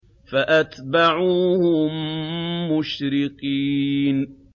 فَأَتْبَعُوهُم مُّشْرِقِينَ